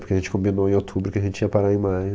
Porque a gente combinou em outubro que a gente ia parar em maio.